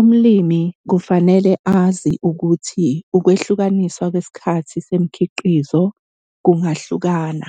Umlimi kufanele wazi ukuthi ukwehlukaniswa kwesikhathi semikhiqizo kungahlukana